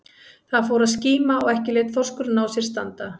Það fór að skíma og ekki lét þorskurinn á sér standa.